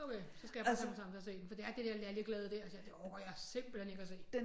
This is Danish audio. Okay så skal jeg bare tage mig sammen til at se den for det er det der lalleglade der det orker jeg simpelthen ikke at se